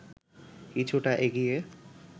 কিছুটা এগিয়ে